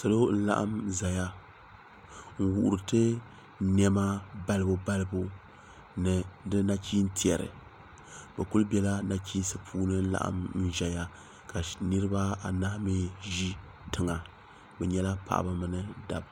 salo n laɣim zaya n wuhiritɛ nɛma balibalibu ni di nachin tɛri bɛ kuli bɛla nachim puuni n laɣim zaya ka niribaanahi mi ʒɛ tɛŋa be nyɛla paɣ' ba ni da ba